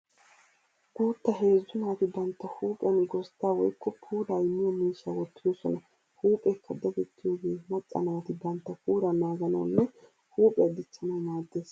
Guutta heezzu naatii bantta huuphiyan gozddaa woykko puulaa immiya miishsha wottidosona. Huupheekka dadettiyooge macca naati bantta puulaa naaganawunne huuphiya dichchanawu maaddes.